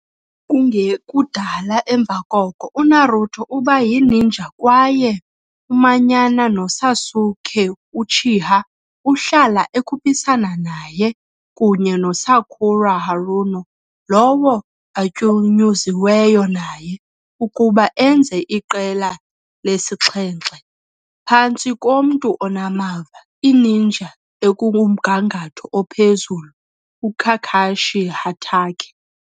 Kungekudala emva koko, uNaruto uba yininja kwaye umanyana noSasuke Uchiha, ahlala ekhuphisana naye, kunye noSakura Haruno, lowo atyunyuziweyo naye, ukuba enze iQela lesi-7, phantsi komntu onamava, i-ninja ekumgangatho ophezulu uKakashi Hatake.